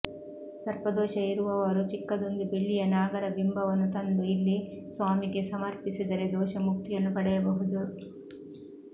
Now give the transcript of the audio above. ಸರ್ಪ ದೋಷ ಇರುವವರು ಚಿಕ್ಕದೊಂದು ಬೆಳ್ಳಿಯ ನಾಗರ ಬಿಂಬವನ್ನು ತಂದು ಇಲ್ಲಿ ಸ್ವಾಮಿಗೆ ಸಮರ್ಪಿಸಿದರೆ ದೋಷ ಮುಕ್ತಿಯನ್ನು ಪಡೆಯಬಹುದು